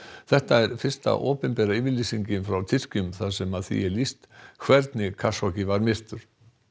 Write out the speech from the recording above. þetta er fyrsta opinbera yfirlýsingin frá Tyrkjum þar sem því er lýst hvernig var myrtur